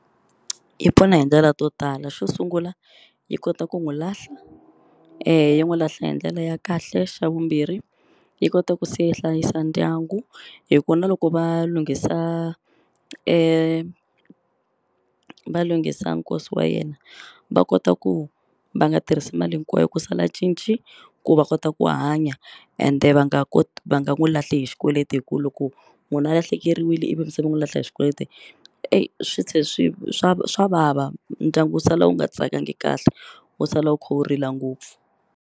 Yi pfuna hi ndlela to tala xo sungula yi kota ku n'wi lahla yi n'wi lahla hi ndlela ya kahle xa vumbirhi yi kota ku se hlayisa yi ndyangu hi ku na loko va lunghisa va lunghisa nkosi wa yena va kota ku va nga tirhisi mali hinkwayo ku sala cinci ku va kota ku hanya ende va nga va nga ku lahli hi xikweleti hi ku loko munhu a lahlekeriwile ivi mi se mi n'wi lahla hi xikweleti swi tlhe swi swa swa vava ndyangu wu sala wu nga tsakangi kahle wu sala wu kha wu rila ngopfu.